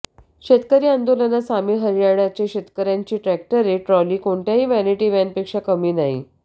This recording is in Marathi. शेतकरी आंदोलनात सामील हरियाणाचे शेतकऱ्याची ट्रॅक्टर ट्राॅली कोणत्याही वॅनिटी व्हॅनपेक्षा कमी नाही